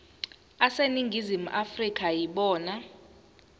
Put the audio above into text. aseningizimu afrika yibona